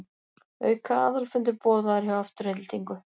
Auka aðalfundur boðaður hjá Aftureldingu